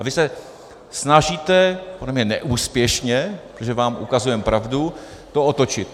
A vy se snažíte - podle mě neúspěšně, protože vám ukazujeme pravdu - to otočit.